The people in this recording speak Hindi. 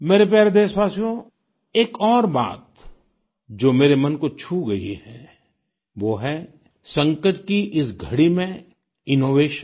मेरे प्यारे देशवासियो एक और बात जो मेरे मन को छू गई है वो है संकट की इस घड़ी में इनोवेशन